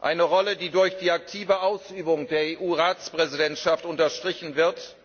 eine Rolle, die durch die aktive Ausübung der EU Ratspräsidentschaft unterstrichen wird,